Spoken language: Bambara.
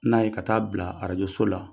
N'a ye ka taa bila arajoso la